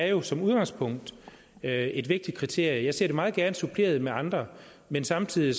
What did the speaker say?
jo som udgangspunkt er et vigtigt kriterie jeg ser det meget gerne suppleret med andre men samtidig